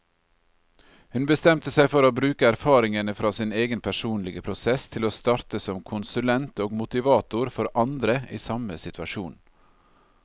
Hun bestemte seg for å bruke erfaringene fra sin egen personlige prosess til å starte som konsulent og motivator for andre i samme situasjon.